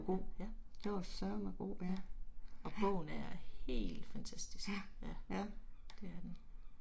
Ja, ja. Ja. Og bogen er helt fantatisk. Ja, det er den